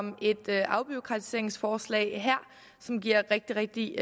om et afbureaukratiseringsforslag som giver rigtig rigtig